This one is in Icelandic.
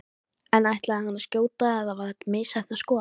En ætlaði hann að skjóta eða var þetta misheppnað skot?